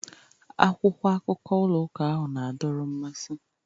Akwụkwọ akụkọ ụlọ ụka ahụ na-adọrọ mmasị.